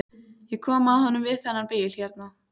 Ég kom að honum við þennan bíl hérna.